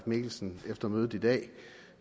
mikkelsen efter mødet i dag